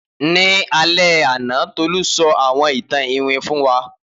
Ni alẹ ana Tolu sọ awọn itan iwin fun wa.